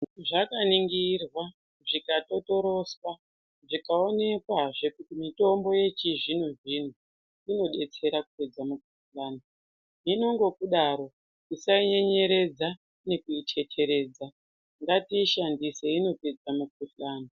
Zvakaningirwa zvikatotoroswa zvikaonekwazve kuti mitombo yechizvino zvino inodetsera kupedza mukuhlani hino nekudaro tisainyenyeredza nekuiteteredza ngatiishandise inopedza mukuhlani.